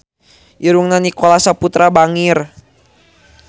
Irungna Nicholas Saputra bangir